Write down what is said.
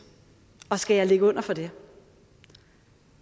og skal jeg ligge under for det